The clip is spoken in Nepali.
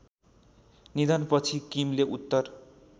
निधनपछि किमले उत्तर